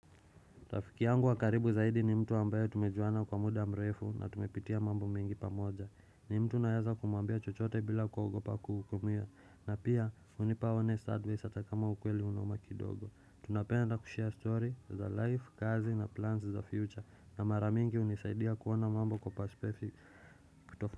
Rafiki yangu wa karibu zaidi ni mtu ambaye tumejuana kwa muda mrefu na tumepitia mambo mingi pamoja. Ni mtu naweza kumwambia chochote bila kuogopa kuhukumia. Na pia, hunipa honest advise atakama ukweli unoma kidogo. Tunapenda kushare story, za life, kazi na plans the future. Na mara mingi unisaidia kuona mambo kwa paspefic kutofa.